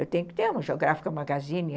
Eu tenho que ter uma Geográfica Magazine.